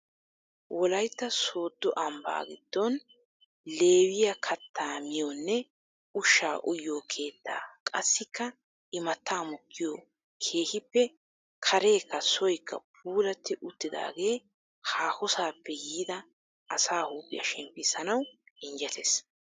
Wollaytta sooddo ambbaa giddon lewiyaa kattaa miyoonne ushshaa uyiyoo keettaa qassikka imattaa mokkiyoo keehippe kareekka soykka puulatti uttidagee haahossaappe yiida asaa huuphphiyaa shemppissanawu injjettees.